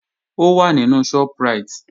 Ó wà nínú Shoprite